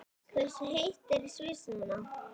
Hversu heitt er í Sviss núna?